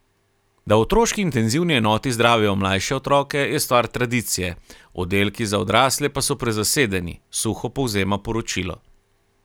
Da v otroški intenzivni enoti zdravijo mlajše otroke, je stvar tradicije, oddelki za odrasle pa so prezasedeni, suho povzema poročilo.